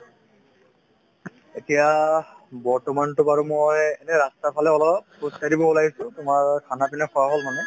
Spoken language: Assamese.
এতিয়া বৰ্তমানতো বাৰু মই এনে ৰাস্তাৰফালে অলপ খোজকাঢ়িব ওলাই আহিছো তোমাৰ khana pina খোৱা হ'ল মানে